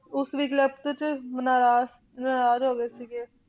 ਉਸਦੀ ਲਿਖਤ ਤੇ ਨਾਰਾਜ ਨਾਰਾਜ ਹੋ ਗਏ ਸੀਗੇ,